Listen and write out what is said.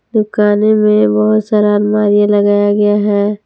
दुकाने में बहोत सारा अलमारियां लगाया गया है।